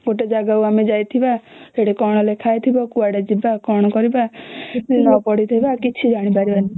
ଗୋଟେ ଜାଗାକୁ ଆମେ ଯାଇଥିବା ସେଠି କଣ ଲେଖା ହେଇଥିବା କୁଆଡେ ଯିବା କଣ କରିବା ନ ପଢିଥିବା କିଛି ଜାଣି ପାରିବ ନାଇଁ